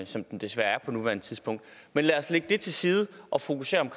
som den desværre er på nuværende tidspunkt men lad os lægge det til side og fokusere på